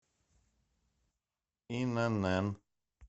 инн